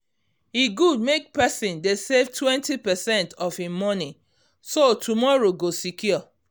e good make person dey save 20 percent of him money so tomorrow go secure